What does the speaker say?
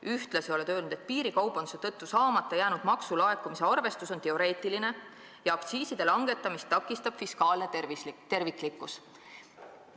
Veel oled sa öelnud, et piirikaubanduse tõttu saamata jäänud maksulaekumise arvestus on teoreetiline ja aktsiiside langetamist takistab vajadus arvestada fiskaalse terviklikkuse eesmärki.